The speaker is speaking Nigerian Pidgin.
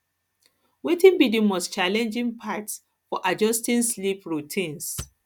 wetin be di most challenging part for adjusting sleep routines